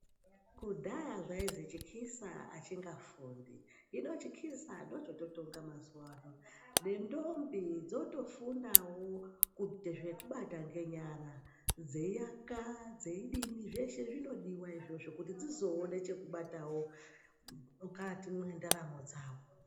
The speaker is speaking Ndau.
Kudhaya zvaizi chikisa achingafundi, hino chikisa ndochototonga mazuwa ano nendombi dzotofundawo kuite zvekubata ngenyara dzeiaka dzeidini zveshe zvinodiwa izvozvo kuti dzizoone chekubatawo mukati mwendaramo dzawo.